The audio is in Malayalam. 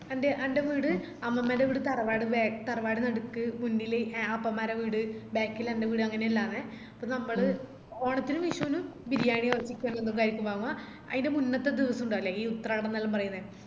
അന്റെ വീട് അമ്മമ്മന്റെ വീട് തറവാട് ബേ തറവാട് നടുക്ക് മുന്നില് ആപ്പന്മാരെ വീട് back ഇൽ എന്റെ വീട് അങ്ങനല്ലന്നെ അപ്പൊ നമ്മള് ഓണത്തിനും വിഷുനും ബിരിയാണി അയിന്റെ മുന്നത്തെ ദിവാസിണ്ടാവൂലെ ഈ ഉത്രാടംന്നെല്ലാം പറേന്നെ